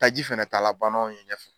Ta ji fɛnɛ taala ban nanw ye ɲɛ fɛ.